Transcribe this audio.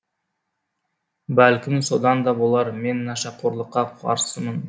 бәлкім содан да болар мен нашақорлыққа қарсымын